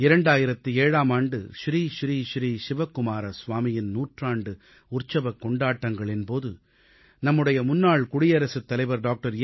2007ஆம் ஆண்டு ஸ்ரீ ஸ்ரீ ஸ்ரீ சிவகுமார ஸ்வாமிஜியின் நூற்றாண்டு உற்சவக் கொண்டாட்டங்களின் போது நம்முடைய முன்னாள் குடியரசுத்தலைவர் டாக்டர் ஏ